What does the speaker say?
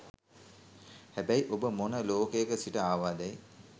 හැබැයි ඔබ මොන ලෝකයක සිට ආවාදැයි